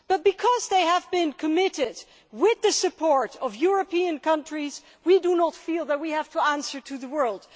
But because they have been committed with the support of European countries, we do not feel that we have to answer to the world.